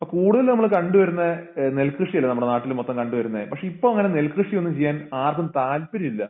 അപ്പോ കൂടുതലുനമ്മളുകണ്ടുവരുന്ന ഏഹ് നെൽകൃഷിയല്ലെ നമ്മടെനാട്ടിലുമൊത്തം കണ്ടുവരുന്ന പക്ഷേ ഇപ്പോ അങ്ങനെ നെൽകൃഷിയൊന്നും ചെയ്യാൻ ആർക്കും താല്പര്യമില്ല